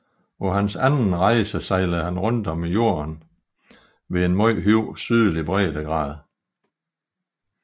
På sin anden rejse sejlede han rundt om jorden ved en meget høj sydlig breddegrad